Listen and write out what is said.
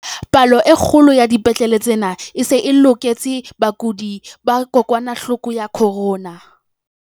"Palo e kgolo ya dipetlele tsena e se e loketse bakudi ba kokwanahloko ya corona."